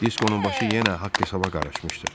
Diskonun başı yenə haqq-hesaba qarışmışdı.